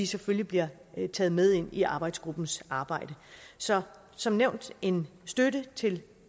selvfølgelig bliver taget med ind i arbejdsgruppens arbejde så som nævnt en støtte til